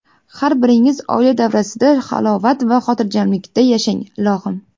Har biringiz oila davrasida halovat va xotirjamlikda yashang, ilohim.